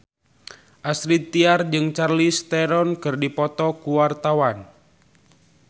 Astrid Tiar jeung Charlize Theron keur dipoto ku wartawan